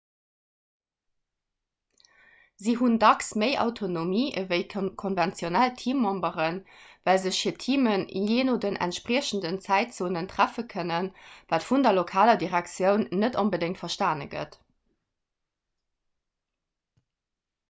se hunn dacks méi autonomie ewéi konventionell teammemberen well sech hir teamen jee no den entspriechenden zäitzonen treffe kënnen wat vun der lokaler direktioun net onbedéngt verstane gëtt